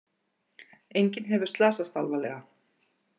Enginn hefur slasast alvarlega